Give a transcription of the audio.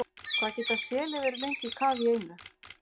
Hvað geta selir verið lengi í kafi í einu?